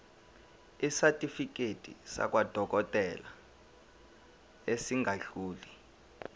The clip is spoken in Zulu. isitifiketi sakwadokodela esingadluli